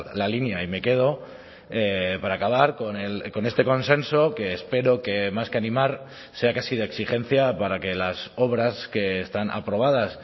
la línea y me quedo para acabar con este consenso que espero que más que animar sea casi de exigencia para que las obras que están aprobadas